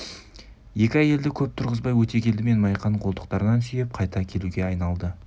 екі әйелді көп тұрғызбай өтегелді мен майқан қолтықтарынан сүйеп қайта әкетуге айналды